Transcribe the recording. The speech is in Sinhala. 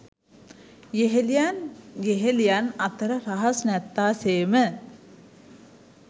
යෙහෙළියන් යෙහෙළියන් අතර රහස් නැත්තාසේම